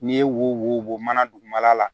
N'i ye wo bɔ mana dugumana la